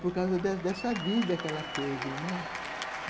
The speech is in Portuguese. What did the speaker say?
Por causa dessa dessa vida que ela teve, né?